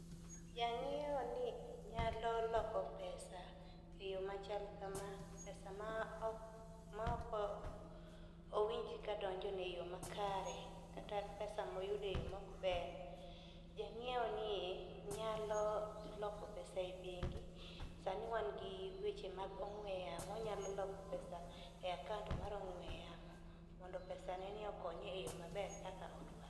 Jang'iewo ni nyalo loko pesa e yoo machal kama pesa ma ok ma ok owinj kadonjo ne oyoo makare kata pesa moyude yoo mok ber. Jang'iwo ni nyalo loko pesa e bengi. Sani wan gi weche mag ongwe yamo onyalo loko pesa e akaunt mar ong'we yamo mondo pesa neni okonye eyo maber kaka odwaro.